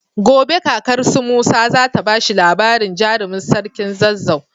Gobe kakar su musa zata bashi labarin jarimin sarkin zazzau